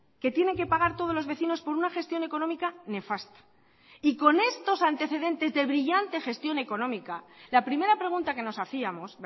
que tienen que pagar todos los vecinos por una gestión económica nefasta y con estos antecedentes de brillante gestión económica la primera pregunta que nos hacíamos